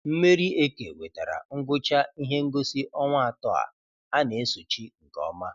Mmeri Eke wetara ngwụcha ihe ngosi ọnwa atọ a a na-esochi nke ọma.